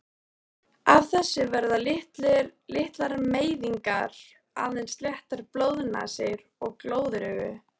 Af þessu verða litlar meiðingar, aðeins léttar blóðnasir og glóðaraugu.